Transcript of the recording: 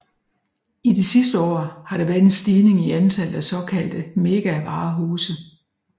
I de sidste år har der været en stigning i antallet af såkaldte megavarehuse